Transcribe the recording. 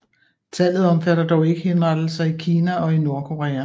Tallet omfatter dog ikke henrettelser i Kina og i Nordkorea